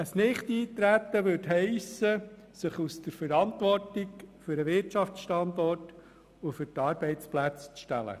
Ein Nichteintreten würde heissen, sich aus der Verantwortung für den Wirtschaftsstandort und die Arbeitsplätze zu stehlen.